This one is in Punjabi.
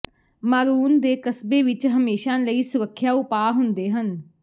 ਮਾਰੂਨ ਦੇ ਕਸਬੇ ਵਿੱਚ ਹਮੇਸ਼ਾਂ ਕਈ ਸੁਰੱਖਿਆ ਉਪਾਅ ਹੁੰਦੇ ਸਨ